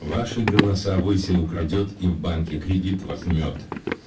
вашей голосовой всему крадёт их банке кредит возьмёт